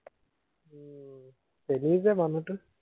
চেনি যে মানুহটো